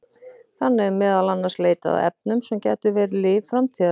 Þannig er meðal annars leitað að efnum sem gætu verið lyf framtíðarinnar.